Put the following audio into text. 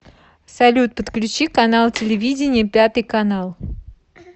салют подключи канал телевидения пятый канал